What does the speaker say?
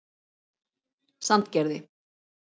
Sandgerði